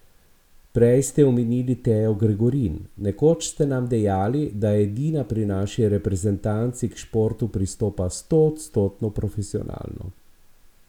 Prej ste omenili Tejo Gregorin, nekoč ste nam dejali, da edina pri naši reprezentanci k športu pristopa stoodstotno profesionalno.